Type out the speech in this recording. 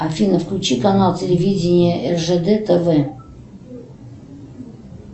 афина включи канал телевидения ржд тв